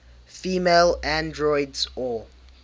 female androids or